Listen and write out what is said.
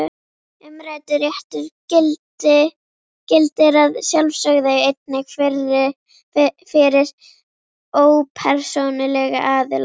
Umræddur réttur gildir að sjálfsögðu einnig fyrir ópersónulega aðila.